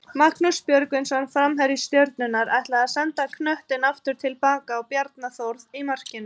Magnús Björgvinsson framherji Stjörnunnar ætlaði að senda knöttinn aftur tilbaka á Bjarna Þórð í markinu.